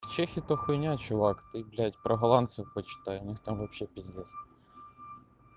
чехи то хуйня чувак ты блядь про голландцем почитай у них там вообще пиздец